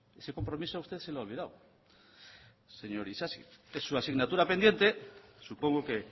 ese compromiso a usted se le ha olvidado señor isasi es su asignatura pendiente supongo que